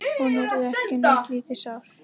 Hún yrði ekki neitt lítið sár.